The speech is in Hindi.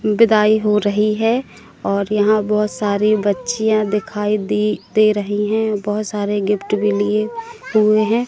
बिदाई हो रही है और यहां बहोत सारी बच्चिया दिखाई दें दे रही है। बहोत सारे गिफ्ट भी लिए हुए हैं।